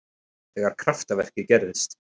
Þegar kraftaverkið gerðist.